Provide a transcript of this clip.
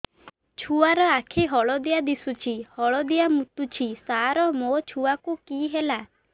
ଛୁଆ ର ଆଖି ହଳଦିଆ ଦିଶୁଛି ହଳଦିଆ ମୁତୁଛି ସାର ମୋ ଛୁଆକୁ କି ହେଲା